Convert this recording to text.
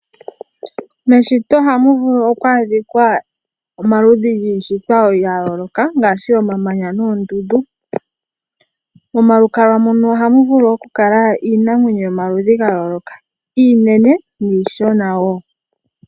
Meshito ohamu vulu okwa adhikwa omaludhi giishitwa ya yooloka ngaashi omamanya noondundu. Monalukalwa mono ohamu vulu okukala iinamwenyo yomaludhi ga yooloka iinene niishona wo.